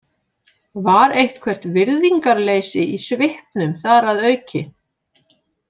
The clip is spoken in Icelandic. Var eitthvert virðingarleysi í svipnum þar að auki?